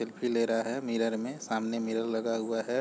Selfie ले रहा है मिरर में सामने मिरर लगा हुआ है।